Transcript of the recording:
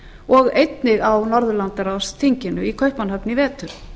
og einnig á norðurlandaráðsþinginu í kaupmannahöfn í vetur